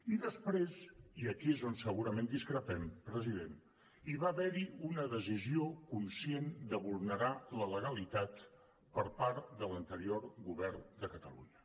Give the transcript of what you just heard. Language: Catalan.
i després i aquí és on segurament discrepem president hi va haver hi una decisió conscient de vulnerar la legalitat per part de l’anterior govern de catalunya